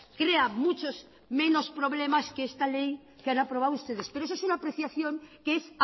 crea muchos menos problemas que esta ley que han aprobado ustedes pero eso es una apreciación que es